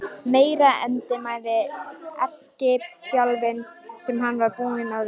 Meiri endemis erkibjálfinn sem hann var búinn að vera!